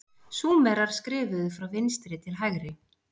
súmerar skrifuðu frá vinstri til hægri